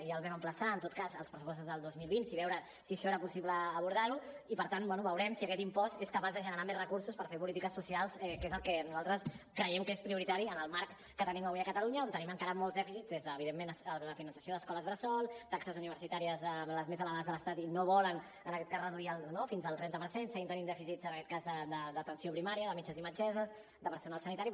i els vam emplaçar en tot cas als pressupostos del dos mil vint a veure si això serà possible abordar ho i per tant bé veurem si aquest impost és capaç de generar més recursos per fer polítiques socials que és el que nosaltres creiem que és prioritari en el marc que tenim avui a catalunya on tenim encara molts dèficits des de evidentment el finançament d’escoles bressol taxes universitàries de les més elevades de l’estat i no volen en aquest cas reduir fins al trenta per cent seguim tenint dèficits en aquest cas d’atenció primària de metges i metgesses de personal sanitari